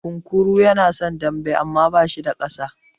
Kunkuru yana son dambe amma bashi da ƙasa.